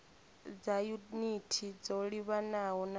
dza yunithi dzo livhanaho na